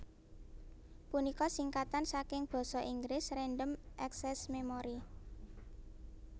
punika singkatan saking Basa Inggris Random Access Memory